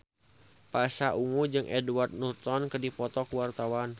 Pasha Ungu jeung Edward Norton keur dipoto ku wartawan